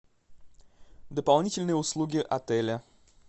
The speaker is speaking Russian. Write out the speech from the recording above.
дополнительные услуги отеля